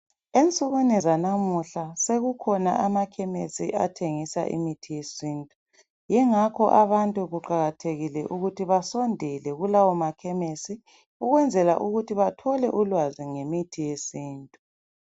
Ensukwini zanamuhla sekukhona amakhemisi athengisa imithi yesintu. Yingakho abantu kuqakathekile ukuthi basondele kulawo makhemisi ukwenzela ukuthi bathole ulwazi ngemithi yesintu.